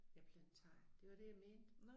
Ja Planetariet det var det jeg mente